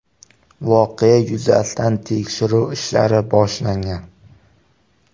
Voqea yuzasidan tekshiruv ishlari boshlangan.